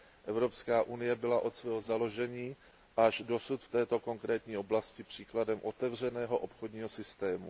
Evropská unie byla od svého založení až dosud v této konkrétní oblasti příkladem otevřeného obchodního systému.